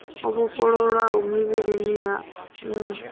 o vhofholowa mililani yannu ya